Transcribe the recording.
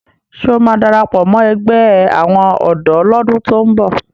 Ṣé ó máa darapọ̀ mọ ẹgbẹ́ àwọn ọ̀dọ́ lọ́dún tó ń bọ̀?